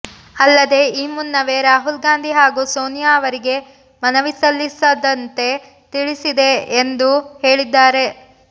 ಅಲ್ಲದೇ ಈ ಮುನ್ನವೇ ರಾಹುಲ್ ಗಾಂಧಿ ಹಾಗೂ ಸೋನಿಯಾ ಅವರಿಗೆ ಮನವಿ ಸಲ್ಲಿಸದಂತೆ ತಿಳಿಸಿದ್ದೆ ಎಂದು ಹೇಳಿದ್ದಾರೆ